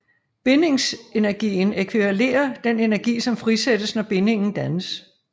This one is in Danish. Bindingsenergien ækvivalerer den energi som frisættes når bindingen dannes